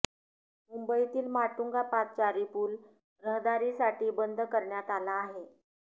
मुंबईतील माटुंगा पादचारी पूल रहदारीसाठी बंद करण्यात आला आहे